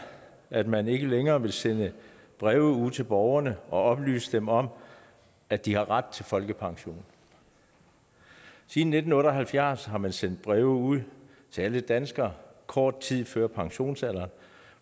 at man ikke længere vil sende breve ud til borgerne og oplyse dem om at de har ret til folkepension siden nitten otte og halvfjerds har man sendt breve ud til alle danskere kort tid før pensionsalderen